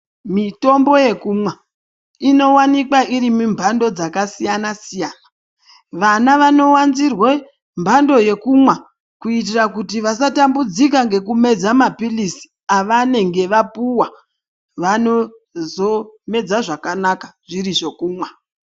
Mitombo yekumwaa inowanikwaa iri mumbandoo dzakasiyana siyana. Vana vanowanzirwe mbando yekumwaa kuitira kuti vasatambudzika ngekumedzaa mapilizi avanenge vapuwaa, vanozomedza zvakanaka zviri zvekumwaa.